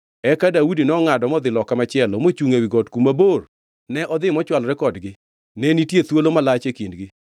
Nopenjo jolweny kod Abner wuod Ner niya, “Bende unyalo dwoka, Abner?” Abner nodwoke niya, “In ngʼa maluongo ruoth?”